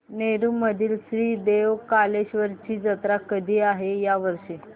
नेरुर मधील श्री देव कलेश्वर ची जत्रा कधी आहे या वर्षी